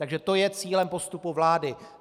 Takže to je cílem postupu vlády.